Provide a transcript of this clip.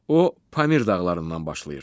O Pamir dağlarından başlayır.